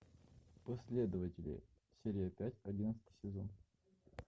последователи серия пять одиннадцатый сезон